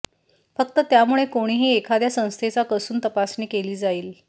फक्त त्यामुळे कोणीही एखाद्या संस्थेचा कसून तपासणी केली जाईल